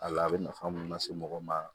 A la a bɛ nafa mun lase mɔgɔ ma